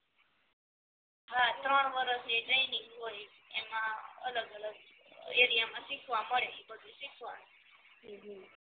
હા ત્રણ વરસની ટ્રેનિંગ હોય એમાં અલગ અલગ એરિયામાં માં શીખવા મડે ઇ બધુ શીખવાનું